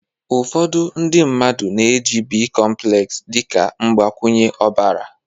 ụfọdụ ndị mmadụ na-eji bicomplex dị ka mgbakwunye ọbara